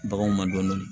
Baganw ma dɔɔnin